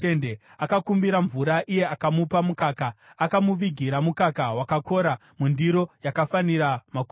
Akakumbira mvura, iye akamupa mukaka; akamuvigira mukaka wakakora mundiro yakafanira makurukota.